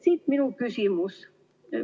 Siit minu küsimus.